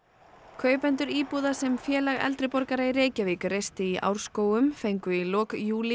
kaupendur íbúða sem Félag eldri borgara í Reykjavík reisti í Árskógum fengu í lok júlí